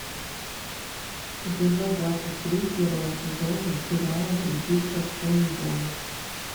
эпизод двадцать три первого сезона сериала влюбиться в сун джон